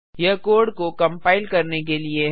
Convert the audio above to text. यह कोड को कंपाइल करने के लिए है